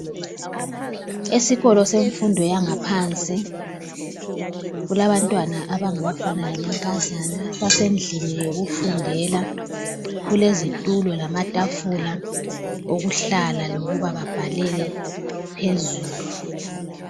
Esikolo semfundo yangaphansi kulabantwana abangabafana lamankazana basendlini yokufundela, kulezitulo lamatafula okuhlala lokuba babhalele phezulu.